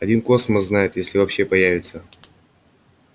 один космос знает если вообще появится